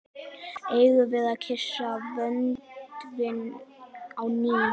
Eigum við að kyssa vöndinn á ný?